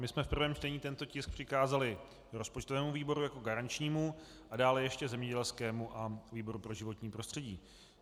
My jsme v prvém čtení tento tisk přikázali rozpočtovému výboru jako garančnímu a dále ještě zemědělskému a výboru pro životní prostředí.